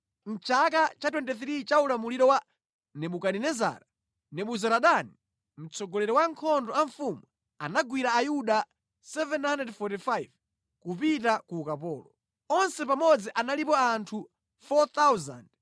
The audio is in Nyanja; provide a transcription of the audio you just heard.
mʼchaka cha 23 cha ulamuliro wa Nebukadinezara, Nebuzaradani, mtsogoleri wa ankhondo a mfumu anagwira Ayuda 745 kupita ku ukapolo. Onse pamodzi analipo anthu 4,600.